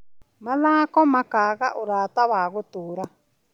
Mathako makaga ũrata wa gũtũũra.